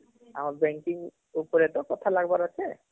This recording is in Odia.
ଆମ banking ଉପରେ ତ କଥା ଲାଗିବାର ଅଃଛେ